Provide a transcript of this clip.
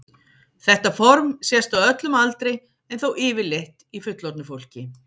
Þetta form sést á öllum aldri en þó yfirleitt í fullorðnu fólki.